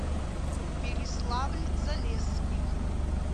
переславль залесский